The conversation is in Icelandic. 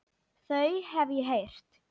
Þau hef ég heyrt.